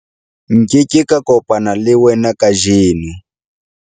nke ke ka kopana le wena kajeno